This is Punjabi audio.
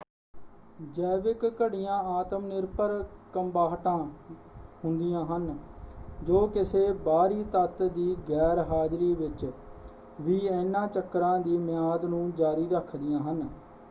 ਜੈਵਿਕ ਘੜੀਆਂ ਆਤਮ ਨਿਰਭਰ ਕੰਬਾਹਟਾਂ ਹੁੰਦੀਆਂ ਹਨ ਜੋ ਕਿਸੇ ਬਾਹਰੀ ਤੱਤ ਦੀ ਗੈਰ-ਹਾਜ਼ਰੀ ਵਿੱਚ ਵੀ ਇਹਨਾਂ ਚੱਕਰਾਂ ਦੀ ਮਿਆਦ ਨੂੰ ਜਾਰੀ ਰੱਖਦੀਆਂ ਹਨ।